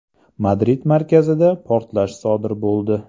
Madrid markazida portlash sodir bo‘ldi.